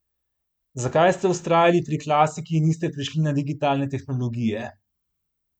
Zakaj ste vztrajali pri klasiki in niste prešli na digitalne tehnologije?